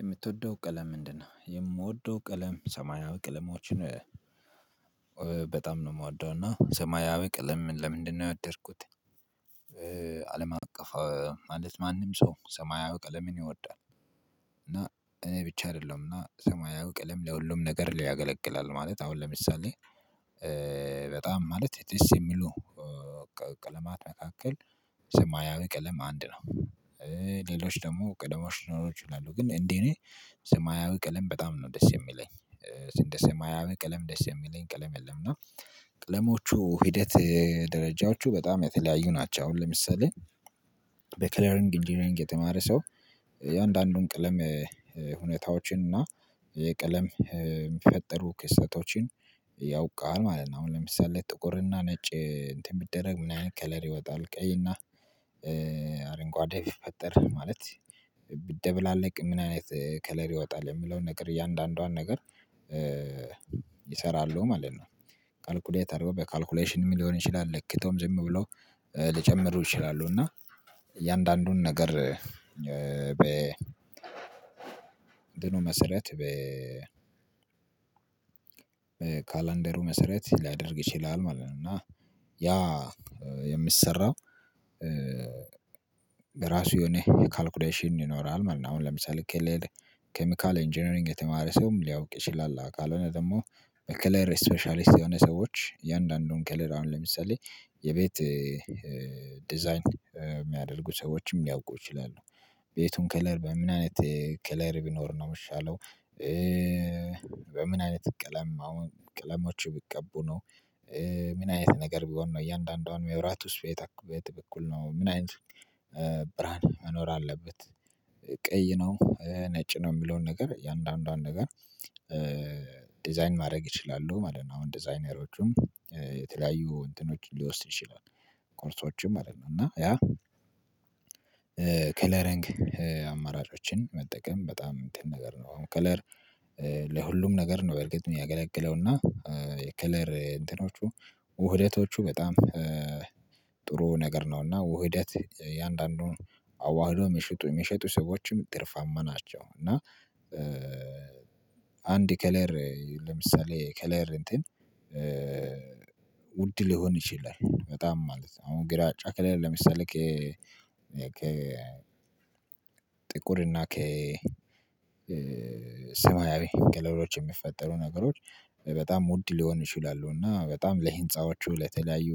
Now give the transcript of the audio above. የምትወደው ቀለም ምንድነው? የምወደው ቀለም ሰማያዊ ቀለማዎችን በጣም ነው የምወደው እና ሰማያዊ ቀልም ለምንድነው የወደድኩት። አለም አቀፍ ማለት ማንም ሰው ሰማያዊ ቀለምን ይወዳል። እና እኔ ብቻ አይደለሁም እና ሰማያዊ ቀለም ለሁሉም ነገር ላይ ያገለግላል ማለት አሁን ለምሳሌ በጣም ማለት ደስ የሚሉ ቀለማት መካከል ሰማያዊ ቀለም አንድ ነው። ሌሎች ደግሞ ቀደሞሽ ሊኖሩ ይችላሉ ግን እንዴ እኔ ሰማያዊ ቀለም በጣም ነው ደስ የሚለኝ። እንደ ሰማያዊ ቀለም ደስ የሚለኝ ቀለም የለም። እና ቀለሞቹ ሂደት ደረጃዎቹ በጣም የተለያዩ ናቸው አሁን ለምሳሌ በክለሪንግ ኢንጂነሪንግ የተማረ ሰው የአንዳንዱን ቀለም ሁኔታዎችን እና የቀለም ሚፈጠሩ ክስተቶችን ያውቃል ማለት ነው። አሁን ለምሳሌ ጥቁርና ነጭ እንትን ቢደረግ ምን አይነት ከለር ይወጣል ቀይና አረንጓዴ ሲፈጠር ማለት ብትደበላልቅ ምን አይነት ከለር ይወጣል? የምለውን ነገር እያንዳንዷን ነገር ይሰራሉ ማለት ነው። ካልኩሌተሩ በካልኩሌሽንም ሊሆን ይችላል ለክተውም ዝም ብለው ልጨምሩ ይችላሉ። እና እያንዳንዱን ነገር በ እንትኑ መሰረት በ ካላንደሩ መሰረት ሊያደርግ ይችላል ማለት ነው። እና ያ የሚሰራው ራሱ የሆነ የካልኩሌሽን ይኖራል ማለት ነው። አሁን ለምሳሌ ከሌለ ኬሚካል ኢንጂነሪንግ የተማረ ሰውም ሊያውቅ ይችላል። ካልሆነ ደግሞ ከለር ስፔሻሊስት የሆነ ሰዎች የአንዳንዱን ከለር አሁን ለምሳሌ የቤት ዲዛይን የሚያደርጉ ሰዎችም ሊያውቁ ይችላሉ ቤቱን ከለር በምን አይነት ከለር ቢኖር ነው የምሻለው? በምን አይነት ቀለም አሁን ቅለሞች ቢቀቡ ነው? ምን አይነት ነገር ቢሆን ነው እያንዳንዱን የመብራቱስ ቤት በበኩል ነው ምን አይነት ብርሃን መኖር አለበት? ቀይ ነው ነጭ ነው የምለውን ነገር የእያንዳንዷን ነገር ዲዛይን ማድረግ ይችላሉ ማለት ነው። አሁን ዲዛይነሮቹም የተለያዩ ኮርሶችም ማለት ነው እና ያ አማራጮችን መጠቀም በጣም እንትን ነገር ነው። አሁን ከለር ለሁሉም ነገር ነው በርግጥ የሚያገለግለውና የከለር እንትኖቹ ውህደቶቹ በጣም ጥሩ ነገር ነው። እና ውህደት የአንዳንዱን አዋህዶ የሚሸጡ የሚሸጡ ሰዎችም ትርፋማ ናቸው። እና አንድ ከለር ለምሳሌ ከለር እንትን ሊሆን ይችላል በጣም ማለት ነው። አሁን ግራጫ ከሌለ ለምሳሌ ከ ጥቁር እና ከሰማያዊ ከለሮች የሚፈጠሩ ነገሮች በጣም ውድ ሊሆን ይችላሉ። እና በጣም ለህንፃዎቹ ለተለያዩ